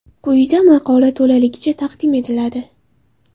Quyida maqola to‘laligicha taqdim etiladi.